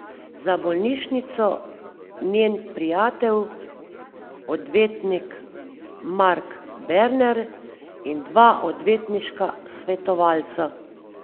Za bolnišnico njen prijatelj, odvetnik Mark Berner, in dva odvetniška svetovalca.